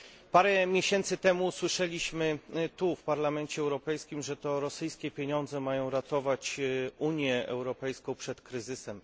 Parę miesięcy temu usłyszeliśmy tu, w Parlamencie Europejskim, że to rosyjskie pieniądze mają ratować Unię Europejską przed kryzysem.